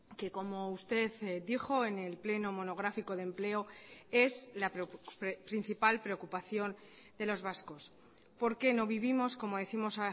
que como usted dijo en el pleno monográfico de empleo es la principal preocupación de los vascos porque no vivimos como décimos